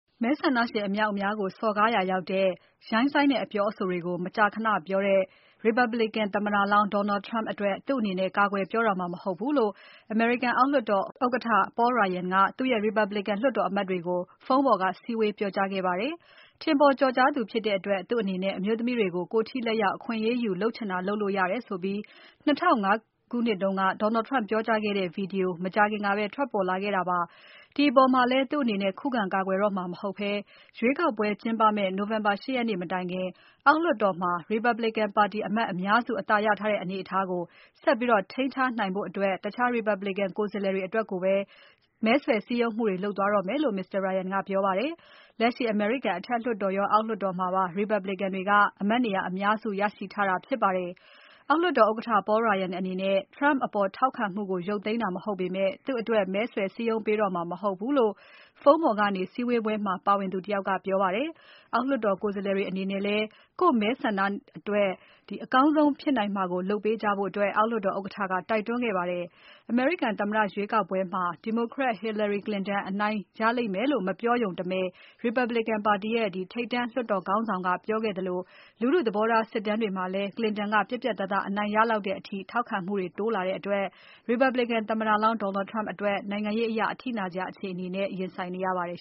မဲဆန္ဒရှင်အမြောက်အများကို စော်ကားရာရောက်တဲ့ ရိုင်းစိုင်းတဲ့အပြောအဆိုတွေကို မကြာခဏပြောတဲ့ Republican သမ္မတလောင်း Donald Trump ကိုသူ့အနေနဲ့ ကာကွယ်ပြောတော့မှာ မဟုတ်ဘူးလို့ အောက်လွှတ်တော်ဥက္ကဋ္ဌ Paul Ryan က သူ့ရဲ့ Republican လွှတ်တော်အမတ်တွေကို ဖုန်းပေါ်က စည်းဝေးပြောကြားခဲ့ပါတယ်။ ထင်ပေါ်ကျော်ကြားသူဖြစ်တဲ့အတွက် သူ့အနေနဲ့အမျိုးသမီးတွေကို ကိုယ်ထိလက်ရောက် အခွင့်အရေးယူ လုပ်ချင်တာလုပ်လို့ရနိုင်တယ်ဆိုပြီး ၂၀၀၅ ခုနှစ်တုန်းက Donald Trump ပြောကြားခဲ့တဲ့ Video မကြာခင်ကပဲထွက်ပေါ်လာခဲ့တာပါ။ ဒီအပေါ်မှာလည်း သူ့အနေနဲ့ ခုခံကာကွယ်နေတော့မှာ မဟုတ်ဘဲ ရွေးကောက်ပွဲကျင်းပမယ့် နိုဝင်ဘာ ၈ ရက်နေ့မတိုင်ခင် အောက်လွှတ်တော်မှာ Republican ပါတီအမတ်အများစု အသာရထားတဲ့ အနေအထားကို ဆက်ပြီးထိန်းထားနိုင်ဖို့ တခြား Republican ကိုယ်စားလှယ်တွေအတွက်ပဲ မဲဆွယ်စည်းရုံးမှုတွေ လုပ်သွားတော့မယ်လို့ Paul Ryan ကပြောပါတယ်။ လက်ရှိ အမေရိကန်အထက်လွှတ်တော်ရော အောက်လွှတ်တော်မှာပါ Republican တွေက အမတ်နေရာ အများစုရရှိထားတာဖြစ်ပါတယ်။ အောက်လွှတ်တော် ဥက္ကဋ္ဌ Paul Ryan အနေနဲ့ Trump အပေါ်ထောက်ခံမှုကို ရုတ်သိမ်းတာ မဟုတ်ပေမဲ့ သူ့အတွက် မဲဆွယ်စည်းရုံးပေးတော့မှာ မဟုတ်ဘူးလို့ ဖုန်းပေါ်ကနေ စည်းဝေးပွဲမှာ ပါဝင်သူတယောက် ကပြောပါတယ်။ အောက်လွှတ်တော် ကိုယ်စားလှယ်တွေ အနေနဲ့လည်း ကိုယ့်မဲဆန္ဒနယ်အတွက် အကောင်းဆုံးဖြစ်နိုင်မှာကို လုပ်ပေးကြဖို့ အောက်လွှတ်တော်ဥက္ကဋ္ဌက တိုက်တွန်းခဲ့ပါတယ်။ အမေရိကန် သမ္မတရွေးကောက်ပွဲမှာ ဒီမိုကရက် Hillary Clinton အနိုင်ရလိမ့်မယ်လို့ မပြောရုံတမယ် Republican ပါတီရဲ့ ထိပ်တန်းလွှတ်တော် ခေါင်းဆောင်က ပြောခဲ့သလို လူထုသဘောထားစစ်တမ်းသစ်တွေမှာလည်း Clinton ကပြတ်ပြတ်သားသား အနိုင်ရနိုင်လောက်တဲ့အထိ ထောက်ခံမှုတွေ တိုးလာခဲ့တဲ့အတွက် Republican သမ္မတလောင်း Donald Trump အတွက်နိုင်ငံရေးအရ အထိနာစရာအခြေအနေနဲ့ ရင်ဆိုင်နေရပါတယ်